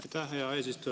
Aitäh, hea eesistuja!